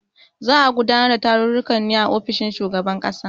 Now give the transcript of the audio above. Za a gudanar da tarukan ne a ofishin shugaban kasa.